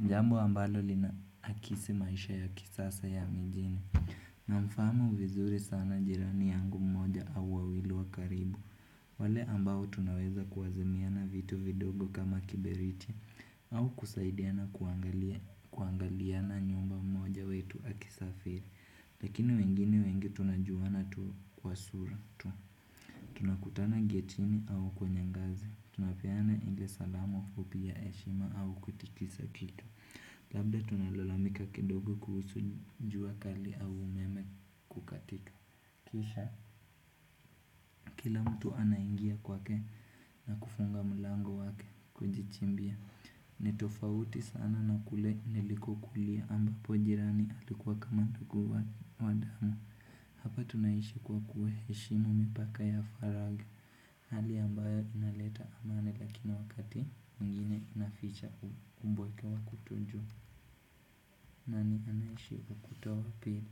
mjambo ambalo linaakisi maisha ya kisasa ya mijini. Namfaamu vizuri sana jirani yangu mmoja au wawilu wakaribu. Wale ambao tunaweza kuwazimiana vitu vidogo kama kiberiti. Au kusaidiana kuangaliana nyumba mmoja wetu akisafiri. Lakini wengine wengi tunajuana tu kwa sura tu. Tunakutana getini au kwenye ngazi. Tunapeana inge salamu upia eshima au kutikisa kitu. Labda tunalolamika kidogo kuhusu njua kali au umeme kukatika. Kisha kila mtu anaingia kwake na kufunga mulango wake kujichimbia. Ni tofauti sana na kule niliko kulia ambapo jirani atikuwa kama tukuwa wadamo. Hapa tunaishi kwa kueheshimu mipaka ya faraga. Hali ambayo inaleta amani lakini wakati mginye inaficha umboike wa kutujo. Nani anayishiku kutuhu pide.